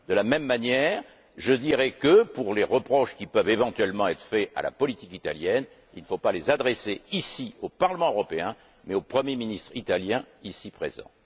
De la même manière, je dirai que les reproches qui peuvent éventuellement être faits à la politique italienne ne doivent pas être adressés au Parlement européen, mais au premier ministre italien ici présent.